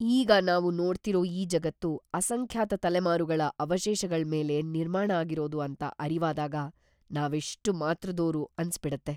ಈಗ ನಾವು ನೋಡ್ತಿರೋ ಈ ಜಗತ್ತು ಅಸಂಖ್ಯಾತ ತಲೆಮಾರುಗಳ ಅವಶೇಷಗಳ್ಮೇಲೆ ನಿರ್ಮಾಣ ಆಗಿರೋದು ಅಂತ ಅರಿವಾದಾಗ ನಾವ್ ಎಷ್ಟ್ ಮಾತ್ರದೋರು ಅನ್ಸ್‌ಬಿಡತ್ತೆ.